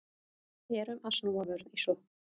Erum að snúa vörn í sókn